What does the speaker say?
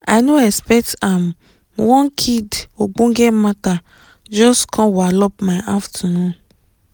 i no expect ham one kid ogbonge mata jus com walop my afternoon